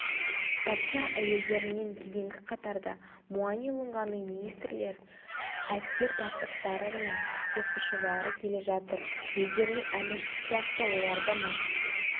патша әйелдерінен кейінгі қатарда муани-лунганың министрлері әскер бастықтары мен сиқыршылары келе жатыр өздерінің әміршісі сияқты олар да мас